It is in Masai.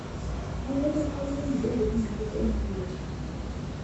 kai etiu hali enkijipe tinakop enew york